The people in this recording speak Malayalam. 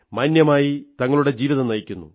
മാന്യമായി തങ്ങളുടെ ജീവിതം നയിക്കുന്നു